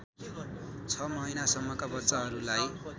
छ महिनासम्मका बच्चाहरूलाई